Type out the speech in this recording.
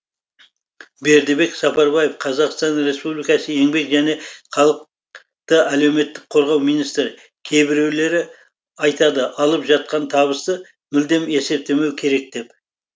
бердібек сапарбаев қазақстан республикасы еңбек және халықты әлеуметтік қорғау министрі кейбіреулері айтады алып жатқан табысты мүлдем есептемеу керек деп